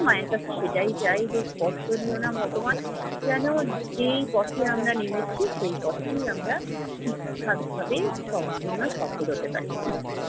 মায়ের কাছে সেটাই চাই যে কষ্ট দিও না ভগবান। যেন যেই পথে আমরা নেমেছি সেই পথেই আমরা ঠিকঠাক ভাবে সম্পূর্ণ সফল হতে পারি।